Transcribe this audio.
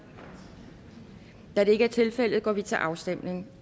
da det er ikke tilfældet går vi til afstemning